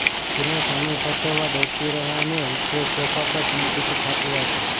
કિરણ સમય સાચવવા દોડતી રહે અને વિશ્વેશ સોફા પર શાંતિથી છાપુ વાંચે